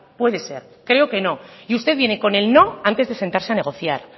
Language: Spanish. puede ser creo que no y usted viene con el no antes de sentarse a negociar